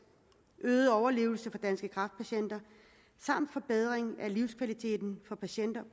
øget overlevelse og forbedring af livskvaliteten for patienter